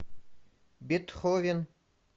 бетховен